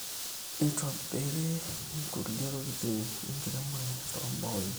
Nitobiri nkulie tokiti enkiremore too baoin